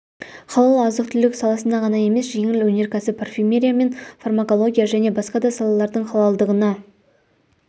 халал азық-түлік саласына ғана емес жеңіл өнеркәсіп парфюмерия мен фармакология және басқа да салалардың халалдығына